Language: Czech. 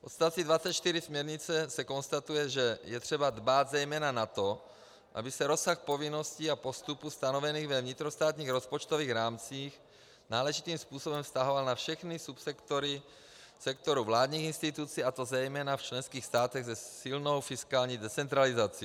V odstavci 24 směrnice se konstatuje, že je třeba dbát zejména na to, aby se rozsah povinností a postupů stanovených ve vnitrostátních rozpočtových rámcích náležitým způsobem vztahoval na všechny subsektory sektoru vládních institucí, a to zejména v členských státech se silnou fiskální decentralizací.